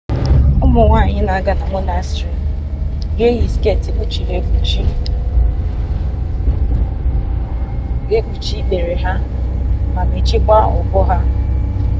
ụmụ nwanyị na-aga na monastrị ga-eyi sket na-ekpuchi ikpere ha ma mechiekwa ubu ha